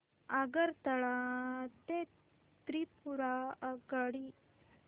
आगरतळा ते त्रिपुरा आगगाडी